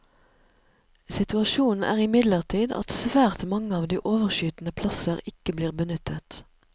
Situasjonen er imidlertid at svært mange av de overskytende plasser ikke blir benyttet.